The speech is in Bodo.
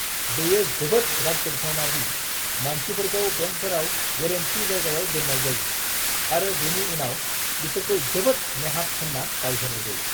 बेयो जोबोद राग जोंथावना दि मानसिफोरखौ बेंकफोराव गोरोन्थि जायगायाव दोननाय जायो, आरो बेनि उनाव बिसोरखौ जोबोद नेहाथ होनना दाय होनाय जायो।